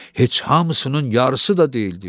Heç hamısının yarısı da deyildi.